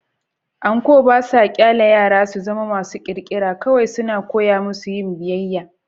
Anko ba sa ƙyale yara su zama masu ƙirƙira - kawai suna koya musu yin biyayya.